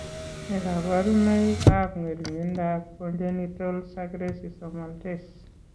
Nee kabarunoikab ng'ering'indoab Congenital sucrase isomaltase?